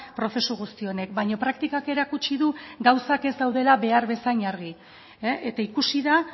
prozesu guzti honek baina praktikak erakutsi du gauzak ez daudela behar bezain argi eta ikusi da